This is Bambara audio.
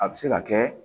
A bɛ se ka kɛ